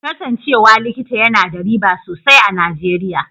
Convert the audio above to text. Kasancewa likita yana da riba sosai a Nijeriya.